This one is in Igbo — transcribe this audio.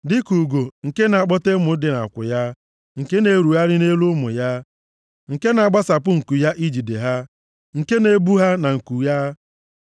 dịka ugo nke na-akpọte ụmụ dị nʼakwụ ya, nke na-erugharị nʼelu ụmụ ya, nke na-agbasapụ nku ya ijide ha, nke na-ebu ha na nku ya,